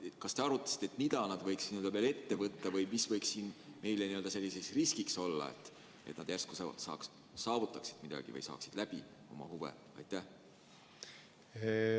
Kas te arutasite, mida nad võiksid veel ette võtta või mis võiks siin meile n-ö riskiks olla, et nad järsku saavutaksid midagi või saaksid läbi oma huve?